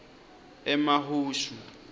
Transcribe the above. emahushu